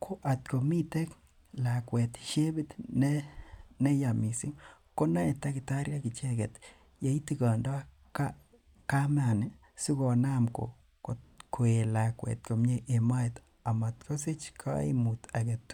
ko akomiten lakuet siepit neyaa missing konamei takitariek yeitigondo kamani sikonam koet lakuet homie en moet. Amtkosich kaimuut agetugul.